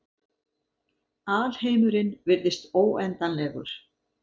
Alheimurinn virðist óendanlegur.